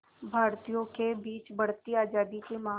भारतीयों के बीच बढ़ती आज़ादी की मांग